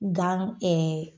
Gan